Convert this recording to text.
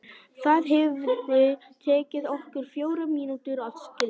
Það hefði tekið okkur fjórar mínútur að skilja.